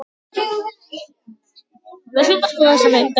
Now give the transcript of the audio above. Ég bíð enn eftir svari.